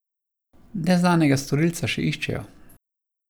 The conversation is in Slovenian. Neznanega storilca še iščejo.